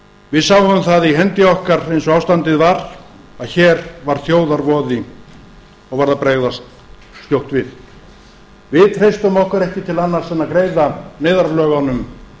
við sáum það í hendi okkar eins og ástandið var að hér var þjóðarvoði og varð að bregðast skjótt við við treystum okkur ekki til annars en að greiða neyðarlögunum